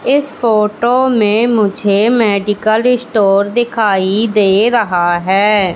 इस फोटो मे मुझे मेडिकल स्टोर दिखाई दे रहा है।